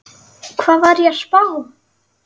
Hvað var ég að spá?